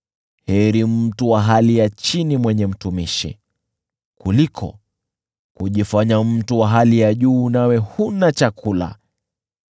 Heri mtu wa hali ya chini mwenye mtumishi, kuliko kujifanya mtu wa hali ya juu nawe huna chakula.